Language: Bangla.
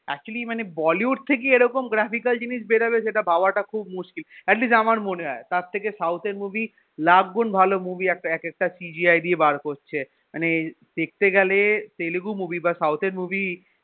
actually মানে bollywood থেকে এরকম graphical জিনিস বেরবে সেটা ভাবাটা খুব মুশকিল atleast আমার মনে হয় তার থেকে south এর movie লাখ গুন ভালো movie এক একটা CGI দিয়ে বার করছে মানে দেখতে গেলে তেলেগু movie বা south এর movie